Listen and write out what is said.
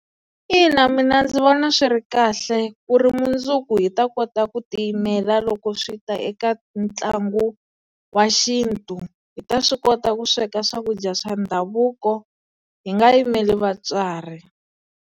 Ina mina ndzi vona swi ri kahle ku ri mundzuku hi ta kota ku ti yimela loko swi ta eka ntlangu wa xintu. Hi ta swi kota ku sweka swakudya swa ndhavuko hi nga yimeli vatswari.